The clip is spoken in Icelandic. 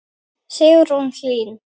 Sigrún Hlín.